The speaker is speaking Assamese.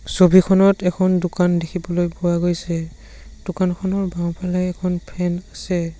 ছবিখনত এখন দোকান দেখিবলৈ পোৱা গৈছে দোকানখনৰ বাওঁফালে এখন ফেন আছে।